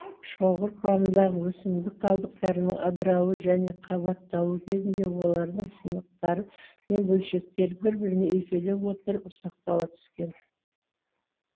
шоғыр кұрамындағы өсімдік қалдықтарының ыдырауы және қабатталуы кезінде олардың сынықтары мен бөлшектері бір біріне үйкеле отырып ұсақтала түскен